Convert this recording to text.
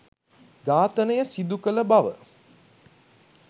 ඝාතනය සිදුකළ බව